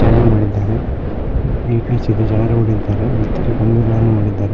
ಚೆನ್ನಾಗ್ ಮಾಡಿದ್ದಾರೆ ನೀಟ್ನೆಸ್ ಇದೆ ಜನಗುಳಿದ್ದಾರೆ ಮತ್ತು ಇಲ್ಲಿ ಬಂಧುಗಳನ್ನು ಮಾಡಿದ್ದಾರೆ.